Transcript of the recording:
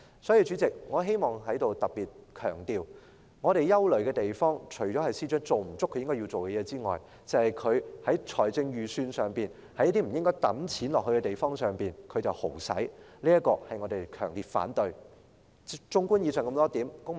代理主席，我希望在此特別強調，我們憂慮的地方，除了是司長未做足他要做的事之外，還有他在財政預算案中，把公帑揮霍在不應花錢的地方上，我們對此表示強烈反對。